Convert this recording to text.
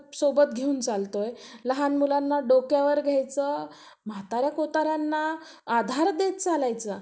आपण आपल्या लेकरांना चांगलं शिकवू. जर आपल्यालाच शिक्षणाचं महत्त्व माहित नसलं तर आपण आपल्या लेकरांना कसं, सांगायचं कि शिक्षण काय आहे ते. तसच, आपण शिक्षण विषयी थोडं बोलणार आहोत. शिक्षण हे